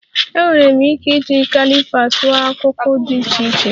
Enwere m ike iji caliper tụọ akụkụ dị iche iche